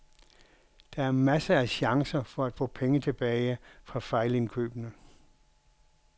Der er masser af chancer for at få penge tilbage fra fejlindkøbene.